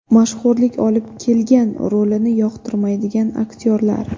Mashhurlik olib kelgan rolini yoqtirmaydigan aktyorlar.